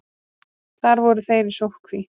Þar voru þeir í sóttkví.